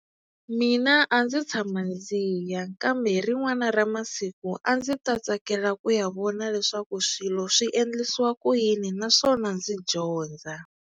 Mina a ndzi tshama ndzi ya kambe hi rin'wana ra masiku a ndzi ta tsakela ku ya vona leswaku swilo swi endlisiwa ku yini naswona ndzi dyondza.